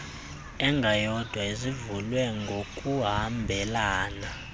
engayodwa ezivulwe ngokuhambelana